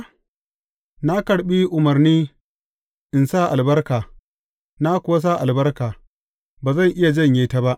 Na karɓi umarni in sa albarka; na kuwa sa albarka, ba zan iya janye ta ba.